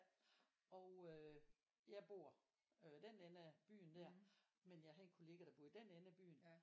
Og øh jeg bor øh den ende af byen der men jeg har en kollega der bor i den ende af byen